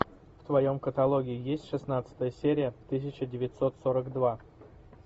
в твоем каталоге есть шестнадцатая серия тысяча девятьсот сорок два